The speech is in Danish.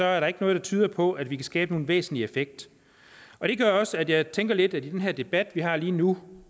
er der ikke noget der tyder på at vi kan skabe nogen væsentlig effekt det gør også at jeg tænker lidt at i den her debat vi har lige nu